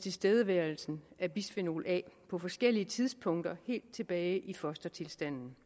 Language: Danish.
tilstedeværelsen af bisfenol a på forskellige tidspunkter helt tilbage i fostertilstanden